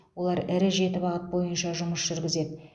олар ірі жеті бағыт бойынша жұмыс жүргізеді